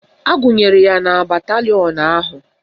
Agụnyere ya na batalịọn ahụ